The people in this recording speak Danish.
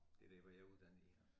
Det der hvor jeg er uddannet i